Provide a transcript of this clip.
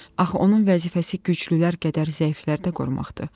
Axı onun vəzifəsi güclülər qədər zəifləri də qorumaqdır.